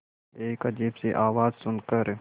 एक अजीब सी आवाज़ सुन कर